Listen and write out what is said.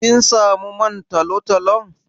Kin samu man talo-talon?